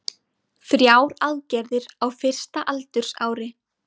Þrjár aðgerðir á fyrsta aldursári